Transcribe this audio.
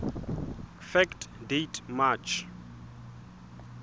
fact date march